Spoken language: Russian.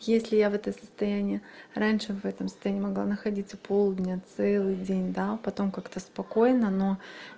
если я вот это состояние раньше в этом состоянии могла находиться полдня целый день да потом как-то спокойно но